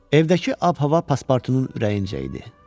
Evdəki ab-hava paspartunun ürəyincə idi.